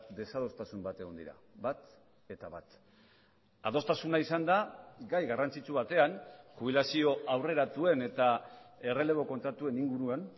desadostasun bat egon dira bat eta bat adostasuna izan da gai garrantzitsu batean jubilazio aurreratuen eta errelebo kontratuen inguruan